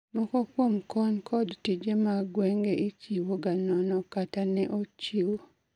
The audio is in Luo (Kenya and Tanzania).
Moko kuom kony kod tije mag gwenge ichiwo ga nono kata ne ochiw